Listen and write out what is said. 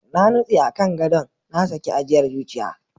Na nutse a kan gadon, na saki ajiyar zuciya.